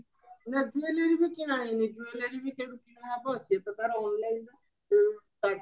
ନା jewelry କିଣା ହେଇନି jewelry ବି କିଣା ହବ ତାର onlineରୁ